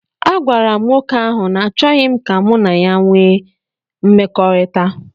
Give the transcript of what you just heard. Agwara m nwoke ahụ na achọghị m ka mụ na ya wee mmekọrịta